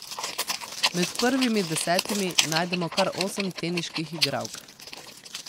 Med prvimi desetimi najdemo kar osem teniških igralk.